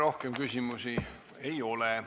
Rohkem küsimusi ei ole.